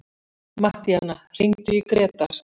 Mattíana, hringdu í Grétar.